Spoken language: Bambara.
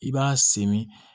I b'a sen min